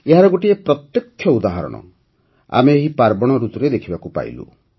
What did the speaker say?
ଏହାର ଗୋଟିଏ ପ୍ରତ୍ୟକ୍ଷ ଉଦାହରଣ ଆମେ ଏହି ପାର୍ବଣ ଋତୁରେ ଦେଖିବାକୁ ପାଇଲୁ